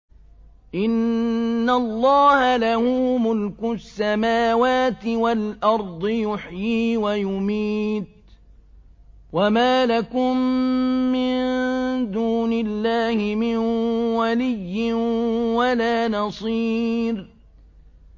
إِنَّ اللَّهَ لَهُ مُلْكُ السَّمَاوَاتِ وَالْأَرْضِ ۖ يُحْيِي وَيُمِيتُ ۚ وَمَا لَكُم مِّن دُونِ اللَّهِ مِن وَلِيٍّ وَلَا نَصِيرٍ